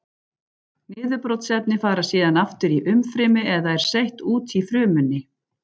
Niðurbrotsefni fara síðan aftur í umfrymi eða er seytt út úr frumunni.